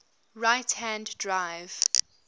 right hand drive